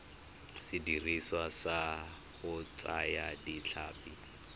sediriswa sa go thaya ditlhapi